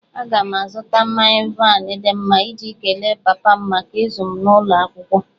Aga m azụta mmanya waịn dị mma iji kelee papa m maka ịzụ m n'ụlọ akwụkwọ